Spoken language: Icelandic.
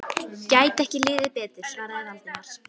Gæti ekki liðið betur svaraði Valdimar.